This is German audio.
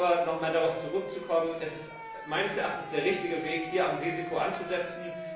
Aber um noch einmal darauf zurückzukommen Es ist meines Erachtens der richtige Weg, am Risiko anzusetzen.